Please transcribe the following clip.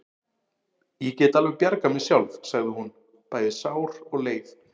Ég get alveg bjargað mér sjálf, sagði hún, bæði sár og leið.